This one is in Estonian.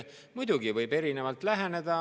Muidugi võib erinevalt läheneda.